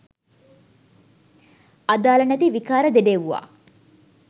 අදාල නැති විකාර දෙඩෙව්වා.